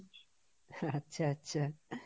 আচ্ছা, আচ্ছা,